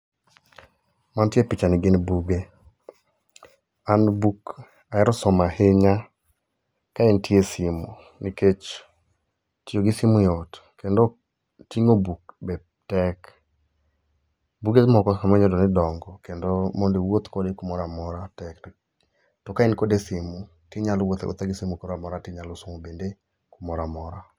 Mantie e pichani gin buge. An buk ahero somo ahinya ka entie e simu nikech tiyo gi simu yot kendo ting'o buk be tek. Buge moko samo inya yudo ni dongo kendo mondi iwuoth kode kumoroamora tek to ka en kode e simu tinyalo wuotho awuotha gi simu kumoro amora tinyalo somo bende kumoroamora.